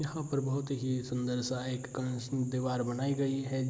यहां पर बहुत ही सुंदर सा एक दीवार बनाई गई है।